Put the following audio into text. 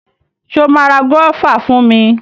Ṣo ma ra gúọ́và fún mi?